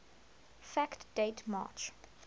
fact date march